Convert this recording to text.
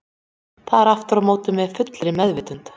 Það er aftur á móti með fullri meðvitund.